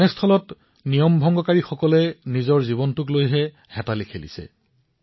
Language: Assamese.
এনে ক্ষেত্ৰত নিয়ম ভংগ কৰা লোকসকলে নিজৰ জীৱনৰ সৈতে ভয়ংকৰ খেল খেলি আছে